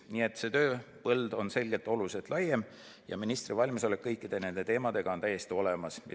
Nii et see tööpõld on oluliselt laiem ja ministri valmisolek kõikide nende teemadega tegeleda on täiesti olemas.